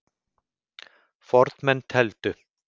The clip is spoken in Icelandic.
Fornmenn tefldu.